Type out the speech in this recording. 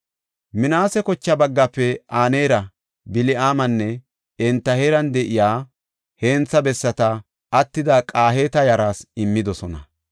Minaase kocha baggaafe Aneera, Bil7aamanne enta heeran de7iya hentha bessata, attida Qahaata yaraas immidosona.